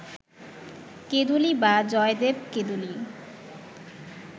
কেঁদুলী বা জয়দেব-কেঁদুলী